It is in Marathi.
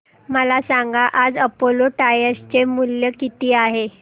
मला सांगा आज अपोलो टायर्स चे शेअर मूल्य किती आहे